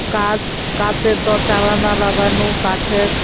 কাচ কাচের দর জানালা লাগানো কাঠের--